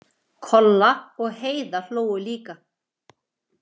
Kolla og Heiða hlógu líka.